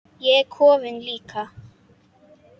Og kofinn líka!